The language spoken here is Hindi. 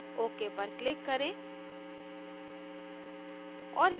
ok पर click करें